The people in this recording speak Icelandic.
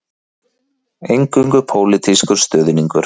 Eingöngu pólitískur stuðningur